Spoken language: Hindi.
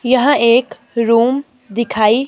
यहां एक रूम दिखाई--